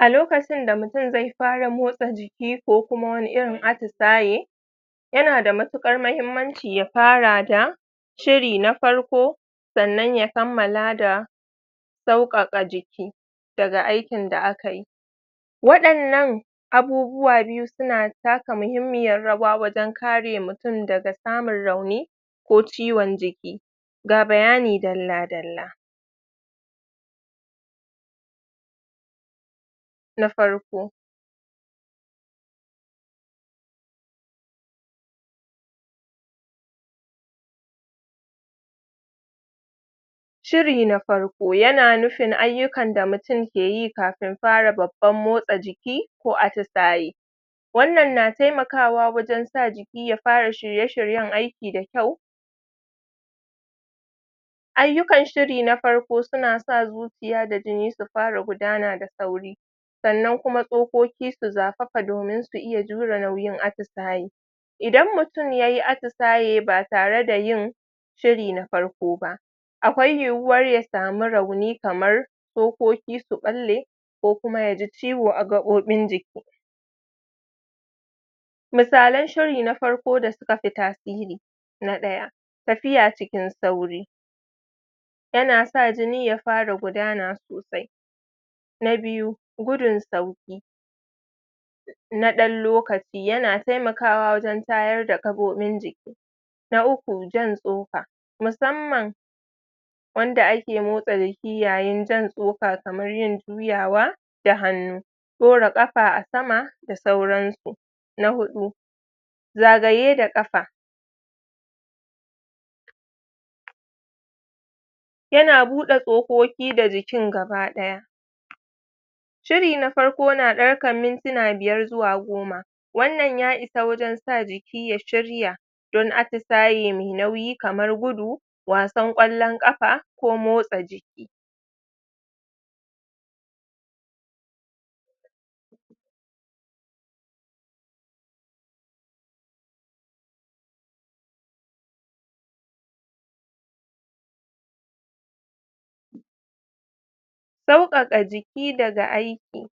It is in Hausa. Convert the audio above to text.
a lokacin da mutun zai fara motsa jiki ko kuma wani irin atisaye yana da matuƙar mahimmanci ya fara da shiri na farko sannan ya kammala da sauƙaƙa jiki daga aikin da akayi waɗannan abubuwa biyu suna taka mahimmiyar rawa wajen kare mutun daga samun rauni ko ciwon jiki ga bayani dalla dalla na farko shiri na farko yana nufin ayyukan da mutun ke yi kafin fara babban motsa jiki ko atisayi wannan na taimakawa wajen sa jiki ya shirye shiryen aiki da kyau ayyukan shiri na farko suna sa zuciya da jini su fara gudana da sauri sannan kuma tsokoki su zafafa domin su iya jure nauyin atisayi idan mutun yayi atisaye ba tare da yin shiri na farko ba akwai yiwuwar ya samu rauni kamar tsokoki su ɓalle ko kuma yaji ciwo a gaɓoɓin jiki misalan shiri na farko da suka fi tasiri na ɗaya tafiya cikin sauri yana sa jini ya fara gudana sosai na biyu gudun sauƙi na ɗan lokaci yana taimakawa wajen tayar da gaɓoɓin jiki na uku jan tsoka musamman wanda ake motsa jiki yayin jan tsoka kamar yin juyawa da hannu ɗora kapa a sama da sauransu na huɗu zagaye da ƙafa yana buɗa tsokoki da jikin gaba ɗaya shiri na farko na ɗarkan mintina biyar zuwa goma wannan ya isa wajen sa jiki ya shirya don atisaye me nauyi kamar gudu wasan ƙwallon ƙafa ko motsa jiki sauƙaƙa jiki daga aiki